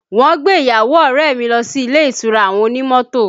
Wọn gbé ìyàwó ọrẹ mi lọ sí ilé ìtura àwọn onímọ́tò